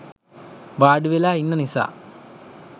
වාඩිවෙලා ඉන්න නිසා.